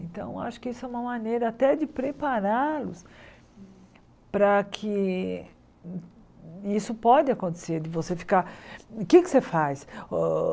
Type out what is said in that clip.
Então, acho que isso é uma maneira até de prepará-los para que isso pode acontecer, de você ficar... O que é que você faz? O